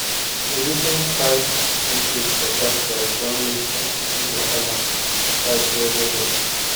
di recent 5 increase for gas price don make house money wahala tight well well well